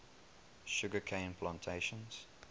sugar cane plantations